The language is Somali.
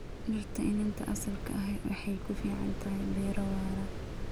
Dhirta iniinta asalka ahi waxay ku fiican tahay beero waara.